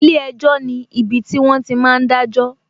Ilé ẹjọ́ ni ibiti wọn ti máa ń dajo